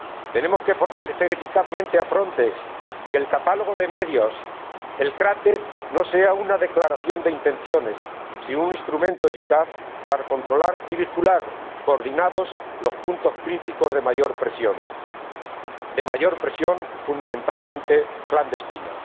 Tenemos que fortalecer eficazmente a Frontex y conseguir que el catálogo de medios, el CRATE, no sea una declaración de intenciones, sino un instrumento eficaz para controlar y vigilar, coordinados, los puntos críticos de mayor presión, de mayor presión fundamentalmente clandestina.